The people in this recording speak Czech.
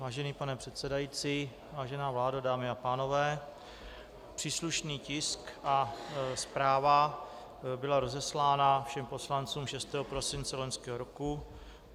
Vážený pane předsedající, vážená vládo, dámy a pánové, příslušný tisk a zpráva byla rozeslána všem poslancům 6. prosince loňského roku.